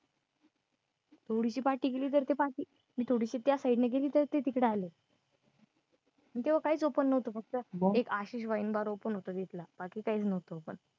थोडीशी party केली तरी ती party मग थोडीशी त्या side ने गेली तरी ते तिकडे आलंय अह तेव्हा काय open नव्हतं फक्त एक आहे एक आशिष wine bar open तिथला बाकी काय open नव्हतं